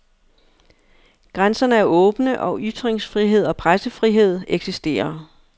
Grænserne er åbne og ytringsfrihed og pressefrihed eksisterer.